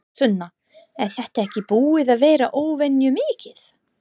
Sunna: Er þetta ekki búið að vera óvenju mikið?